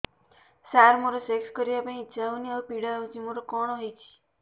ସାର ମୋର ସେକ୍ସ କରିବା ପାଇଁ ଇଚ୍ଛା ହଉନି ଆଉ ପୀଡା ହଉଚି ମୋର କଣ ହେଇଛି